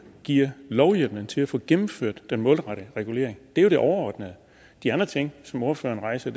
giver lovhjemmelen til at få gennemført den målrettede regulering det er jo det overordnede de andre ting som ordføreren rejser